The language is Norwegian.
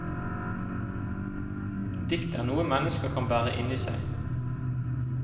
Dikt er noe mennesker kan bære inni seg.